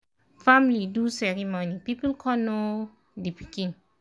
family do ceremony people con know um d pikin